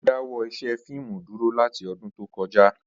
Ó dáwọ́ ṣíṣe fíìmù dúró láti ọdún tó kọjá